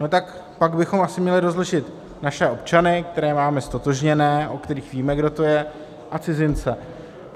No tak pak bychom měli asi rozlišit naše občany, které máme ztotožněné, o kterých víme, kdo to je, a cizince.